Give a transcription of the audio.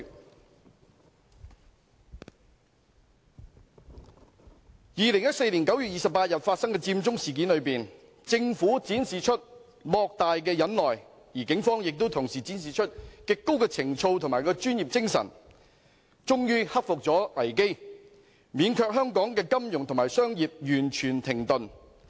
在2014年9月28日發生的佔中事件中，政府展示出莫大的忍耐，而警方亦同時展示出極高的情操和專業精神，終於克服危機，免卻香港的金融和商業完全停頓。